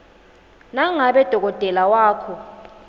nangabe dokotela wakho